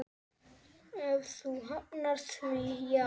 Ef þú hafnar því, já.